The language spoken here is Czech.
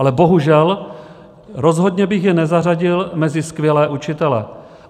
Ale bohužel, rozhodně bych je nezařadil mezi skvělé učitele.